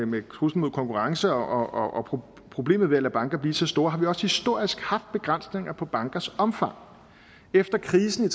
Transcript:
med truslen mod konkurrence og problemet ved at lade banker blive så store har vi også historisk haft begrænsninger på bankers omfang efter krisen